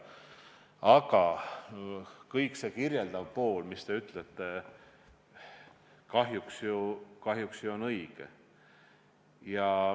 Aga kogu see kirjeldav pool, mida te rääkisite, on kahjuks õige.